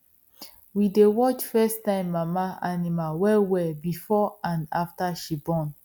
we dey watch firsttime mama animal well well before and after she born